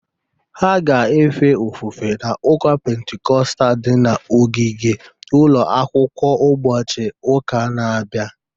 Ha ga-efe ofufe n’ụka Pentikọstal dị n’ogige ụlọ akwụkwọ ụbọchị ụka na-abịa